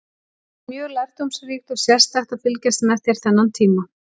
Það var mjög lærdómsríkt og sérstakt að fylgjast með þér þennan tíma.